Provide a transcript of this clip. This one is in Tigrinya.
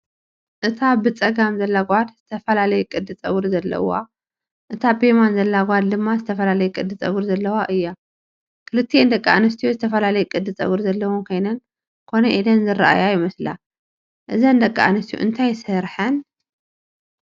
እታ ብጸጋም ዘላ ጓል ዝተፈላለየ ቅዲ ጸጉሪ ዘለዋ፡ እታ ብየማን ዘላ ጓል ድማ ዝተፈላለየ ቅዲ ጸጉሪ ዘለዋ እያ። ክልቲአን ደቂ ኣንስትዮ ዝተፈላለየ ቅዲ ጸጉሪ ዘለወን ኮይነን ኮነ ኢለን ዝረአያ ይመስላ። እዘን ደቂ ኣንስትዮ እንታይ ስረሐን?